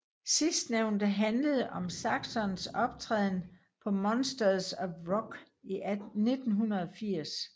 Sidstnævnte handlede om Saxons optræden på Monsters of Rock i 1980